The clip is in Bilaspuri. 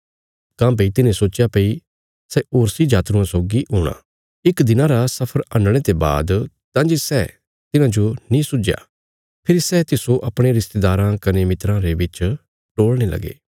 काँह्भई तिन्हे सोच्चया भई सै होरसी जातरुआं सौगी हूणा इक् दिनां रा सफर हंडणे ते बाद तां जे सै तिन्हाजो नीं सुझया फेरी सै तिस्सो अपणे रिस्तेदाराँ कने मित्राँ रे बिच टोल़णे लगे